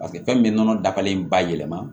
Paseke fɛn min bɛ nɔnɔ dagalen ba yɛlɛma